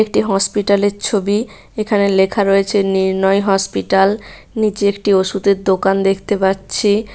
একটি হসপিটাল -এর ছবি এখানে লেখা রয়েছে নির্ণয় হসপিটাল নিচে একটি ওষুধের দোকান দেখতে পাচ্ছি ।